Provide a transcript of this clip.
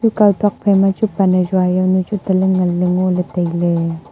chikau tok phaima chu pan hajua jau nu chu taley nganley ngoley tailey.